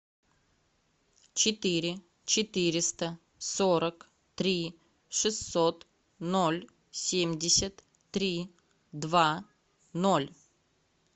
четыре четыреста сорок три шестьсот ноль семьдесят три два ноль